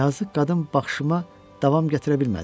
Yazıq qadın baxışıma davam gətirə bilmədi.